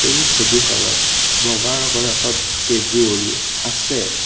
এই ছবিখনত বগা ৰঙৰ এখন টেবুল আছে।